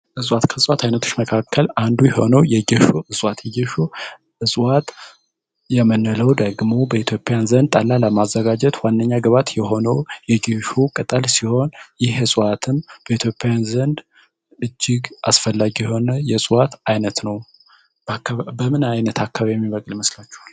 መካከል አንዱ የሆነው ጌሾ ደግሞ በኢትዮጵያ ዘንድ ጠላ ለማዘጋጀት ዋነኛ ግባት የሆኑ ቅጠል ሲሆን በኢትዮጵያ ዘንድ እጅግ አስፈላጊ የሆነ የእሷ አይነት ነው በምን አይነት አካባቢ ይመስላችኋል